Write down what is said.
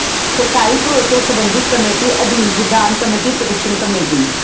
ਸਰਕਾਰੀ ਭਰੋਸਿਆਂ ਸਬੰਧੀ ਕਮੇਟੀ ਅਧੀਨ ਵਿਧਾਨ ਕਮੇਟੀ ਪਟੀਸ਼ਨ ਕਮੇਟੀ